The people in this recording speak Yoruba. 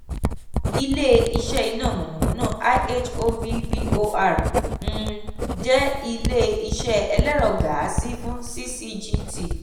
ile-iṣẹ iná mọ̀nàmọ́ná ihovbor um jẹ ile-iṣẹ ẹlẹ́rọ gáàsì fún ccgt.